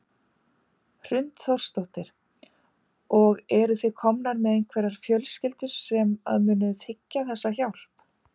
Hrund Þórsdóttir: Og eru þið komnar með einhverjar fjölskyldur sem að munu þiggja þessa hjálp?